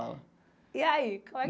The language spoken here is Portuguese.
E aí, como é.